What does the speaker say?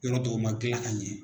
Yɔrɔ dɔw man gilan ka ɲɛ.